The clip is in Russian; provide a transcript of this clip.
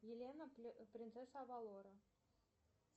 елена принцесса авалора